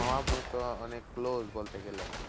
মা আব্বু তো অনেক close বলতে গেলে।